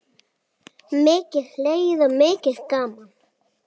Mikið hlegið og mikið gaman.